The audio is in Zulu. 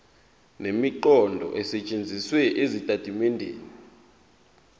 nemiqondo esetshenzisiwe ezitatimendeni